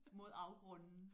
Mod afgrunden